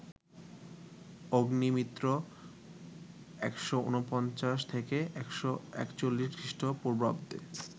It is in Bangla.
অগ্নিমিত্র ১৪৯-১৪১ খ্রীষ্ট পূর্বাব্দে